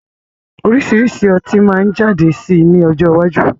Oríṣiríṣi ọtí si maa jáde sí ní ọjọ́ iwájú